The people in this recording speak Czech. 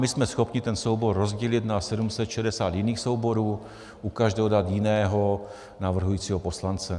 My jsme schopni ten soubor rozdělit na 760 jiných souborů, u každého dát jiného navrhujícího poslance.